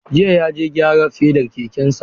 Jiya ya je gyara fedar kekensa.